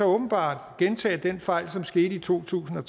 åbenbart gentage den fejl som skete i to tusind og